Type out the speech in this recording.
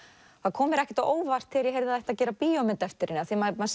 kom mér ekki á óvart þegar ég heyrði að það ætti að gera bíómynd eftir henni því maður